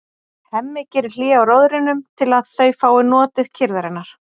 Hemmi gerir hlé á róðrinum til að þau fái notið kyrrðarinnar.